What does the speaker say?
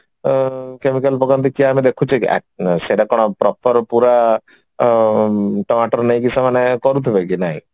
ଆଁ chemical ପକାନ୍ତି କଣ ଆମେ ଦେଖୁଛେ କି ସେଇଟା କଣ proper ପୁରା ଟମାଟର ନେଇକି ସେମାନେ କରୁଥିବେ କି ନାଇଁ